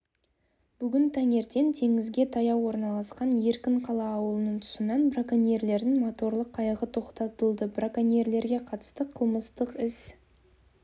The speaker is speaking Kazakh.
бүгін таңертең теңізге таяу орналасқан еркінқала аулының тұсынан броконьерлердің моторлы қайығы тоқтатылды броконьерлерге қатысты қылмыстық іс